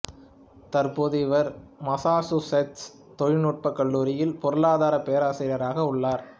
தற்போது இவர் மஸ்ஸாசூசெட்ஸ் தொழில்நுட்ப கல்லூரியில் பொருளாதாரப் பேராசிரியராக உள்ளார்